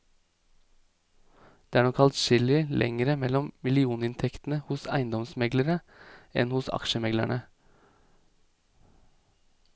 Det er nok adskillig lengre mellom millioninntektene hos eiendomsmeglerne enn hos aksjemeglerne.